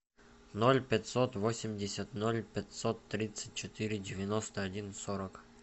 ноль пятьсот восемьдесят ноль пятьсот тридцать четыре девяносто один сорок